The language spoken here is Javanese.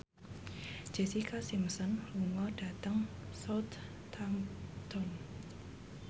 Jessica Simpson lunga dhateng Southampton